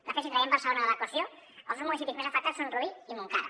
de fet si traiem barcelona de l’equació els dos municipis més afectats són rubí i montcada